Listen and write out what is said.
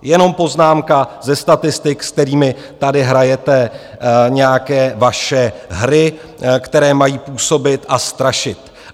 Jenom poznámka ze statistik, s kterými tady hrajete nějaké vaše hry, které mají působit a strašit.